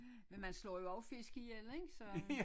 Men man slå jo også fisk ihjel ikke så